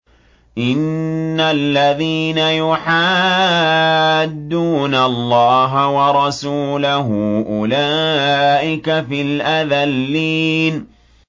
إِنَّ الَّذِينَ يُحَادُّونَ اللَّهَ وَرَسُولَهُ أُولَٰئِكَ فِي الْأَذَلِّينَ